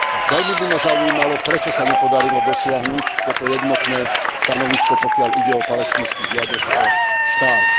Veľmi by ma zaujímalo, prečo sa nepodarilo dosiahnuť toto jednotné stanovisko, pokiaľ ide o palestínsku žiadosť o štát.